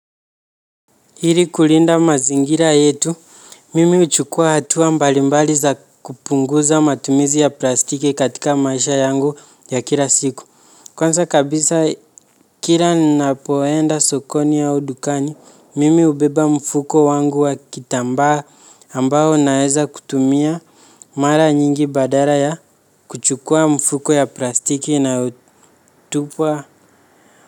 Hiri kulinda mazingira yetu, mimi huchukua hatua mbalimbali za kupunguza matumizi ya plastiki katika maisha yangu ya kila siku. Kwanza kabisa kila ninapoenda sokoni au dukani, mimi ubeba mfuko wangu wa kitambaa ambao ninaeza kutumia mara nyingi badara ya kuchukua mfuko ya plastiki inayotupa.